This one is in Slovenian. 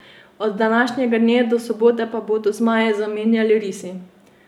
Od današnjega dne do sobote pa bodo zmaje zamenjali risi.